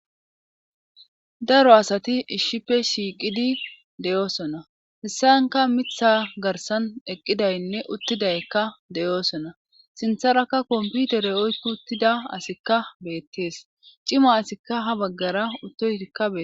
daro asati ishshife shiiqidi deyoosona hessaynka mitha garsan eqqidaynne uttidaykka deyoosona sintharakka kompiutere oykko uttida asikka beettees cima asikka ha baggara uttoyikka bee